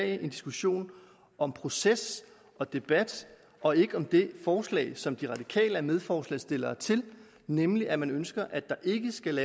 en diskussion om proces og debat og ikke om det forslag som de radikale er medforslagsstillere til nemlig at man ønsker at der ikke skal